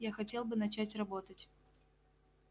я хотел бы начать работать